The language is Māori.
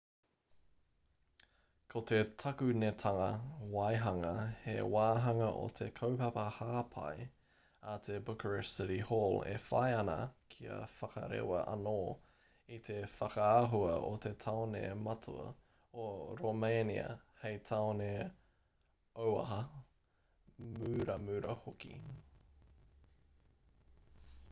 ko te takunetanga waihanga he wāhanga o te kaupapa hāpai a te bucharest city hall e whai ana kia whakarewa anō i te whakaahua o te tāone matua o romēnia hei tāone auaha muramura hoki